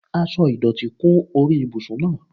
Aṣọ ìdọ̀tí kún orí ibùsùn náà.